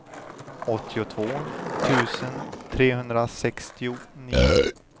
åttiotvå tusen trehundrasextionio